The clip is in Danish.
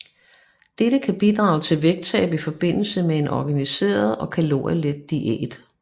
Dette kan bidrage til vægttab i forbindelse med en organiseret og kalorielet diæt